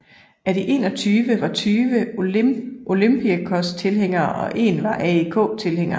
Af de 21 var 20 Olympiakos tilhængere og en var AEK tilhænger